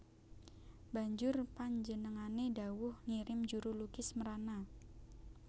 Banjur panjenengané dhawuh ngirim juru lukis mrana